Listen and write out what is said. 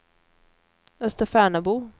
Österfärnebo